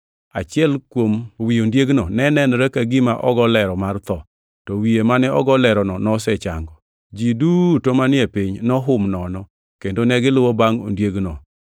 Achiel kuom wi ondiegno ne nenore ka gima ogo lero mar tho, to wiye mane ogo lerono nosechango. Ji duto manie piny nohum nono, kendo negiluwo bangʼ ondiegno.